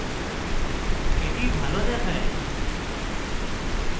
that ভালো দেখায়